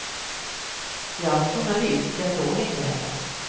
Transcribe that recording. Jag var journalist, jag såg inte heller.